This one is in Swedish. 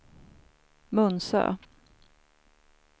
Munsö